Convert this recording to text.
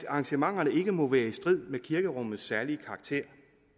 arrangementet ikke må være i strid med kirkerummets særlige karakter